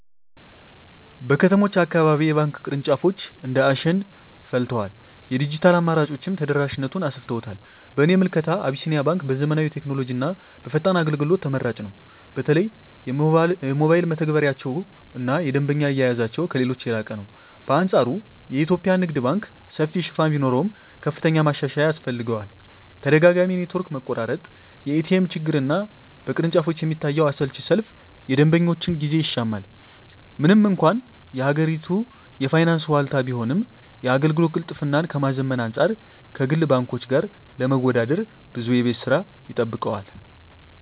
በከተሞች አካባቢ የባንክ ቅርንጫፎች እንደ አሸን ፈልተዋል፤ የዲጂታል አማራጮችም ተደራሽነቱን አሰፍተውታል። በእኔ ምልከታ አቢሲኒያ ባንክ በዘመናዊ ቴክኖሎጂና በፈጣን አገልግሎት ተመራጭ ነው። በተለይ የሞባይል መተግበሪያቸውና የደንበኛ አያያዛቸው ከሌሎች የላቀ ነው። በአንፃሩ የኢትዮጵያ ንግድ ባንክ ሰፊ ሽፋን ቢኖረውም፣ ከፍተኛ ማሻሻያ ያስፈልገዋል። ተደጋጋሚ የኔትወርክ መቆራረጥ፣ የኤቲኤም ችግርና በቅርንጫፎች የሚታየው አሰልቺ ሰልፍ የደንበኞችን ጊዜ ይሻማል። ምንም እንኳን የሀገሪቱ የፋይናንስ ዋልታ ቢሆንም፣ የአገልግሎት ቅልጥፍናን ከማዘመን አንፃር ከግል ባንኮች ጋር ለመወዳደር ብዙ የቤት ሥራ ይጠብቀዋል።